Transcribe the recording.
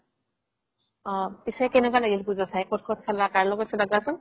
অ পিছে কেনেকুৱা লাগিল পুজা চাই ক'ত ক'ত চালা কাৰ লগত চালা কোৱাচোন